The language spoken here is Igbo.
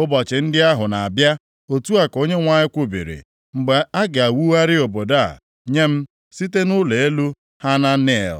“Ụbọchị ndị ahụ na-abịa, Otu a ka Onyenwe anyị kwubiri, mgbe a ga-ewugharị obodo a nye m, site nʼụlọ elu Hananel